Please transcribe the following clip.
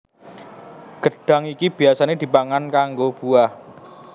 Gedhang iki biyasané dipangan kanggo buah